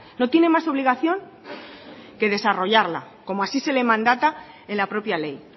no tiene más obligación que desarrollarla como así se le mandata en la propia ley